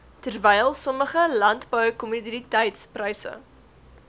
terwyl sommige landboukommoditetispryse